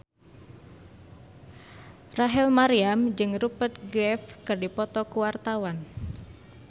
Rachel Maryam jeung Rupert Graves keur dipoto ku wartawan